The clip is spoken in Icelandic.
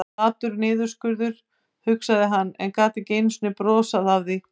Flatur niðurskurður, hugsaði hann, en gat ekki einu sinni brosað að því.